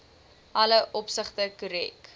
alle opsigte korrek